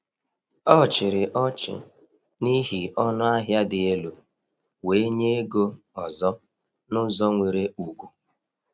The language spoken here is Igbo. O chịrị ọchị n’ihi ọnụahịa dị elu, wee nye ego ọzọ n’ụzọ nwere ugwu.